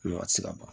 tɛ se ka ban